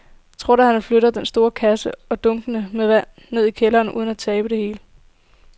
Tror du, at han kan flytte den store kasse og dunkene med vand ned i kælderen uden at tabe det hele?